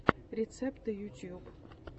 рецепты ютюб